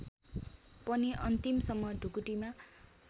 पनि अन्तिमसम्म ढुकुटीमा